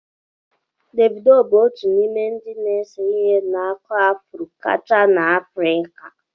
Devido bụ otu n'ime ndị na-ese ihe na-akụ afro kacha na Afrika.